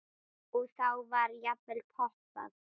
Og þá var jafnvel poppað.